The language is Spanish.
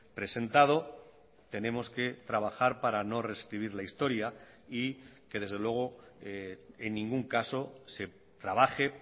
presentado tenemos que trabajar para no rescribir la historia y que desde luego en ningún caso se trabaje